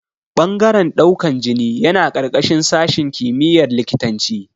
Ɓangaren ɗaukan jini yana ƙarƙashin sashin kimiyar likitanci